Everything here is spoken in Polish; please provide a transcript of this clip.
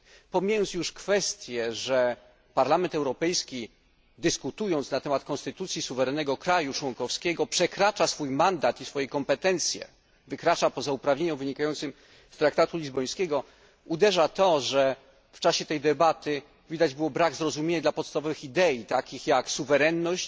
Pomijając już kwestie, że Parlament Europejski, dyskutując na temat konstytucji suwerennego państwa członkowskiego, przekracza swój mandat i swoje kompetencje, wykracza poza uprawnienia wynikające z traktatu lizbońskiego, uderza to, że w czasie tej debaty widać było brak zrozumienia dla podstawowych idei takich jak suwerenność,